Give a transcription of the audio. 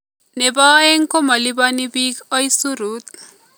Nebo aeng' komoliponi biik oisirit